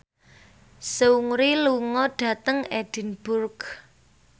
Seungri lunga dhateng Edinburgh